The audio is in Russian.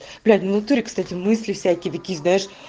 блять внутри кстати мысли всякие такие знаешь